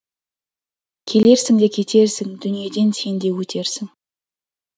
келерсің де кетерсің дүниеден сен де өтерсің